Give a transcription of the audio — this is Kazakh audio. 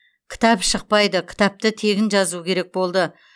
кітап шықпайды кітапты тегін жазу керек болды